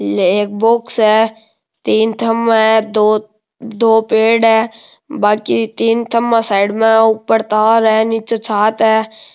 ये एक बॉक्स है तीन खम्भा है दो दो पेड़ है बांकी तीन खम्भा साइड में है ऊपर तार है निचे छात है।